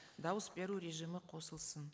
дауыс беру режимі қосылсын